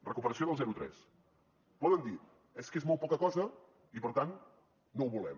recuperació del zero tres poden dir és que és molt poca cosa i per tant no ho volem